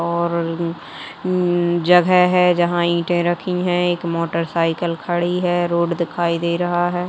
और ऊ ऊ जगह है जहाँ इटे रख्खी हैं | एक मोटरसाइकिल खड़ी है| रोड दिखाई दे रहा है।